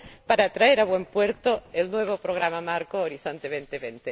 para traer a buen puerto el nuevo Programa Marco Horizonte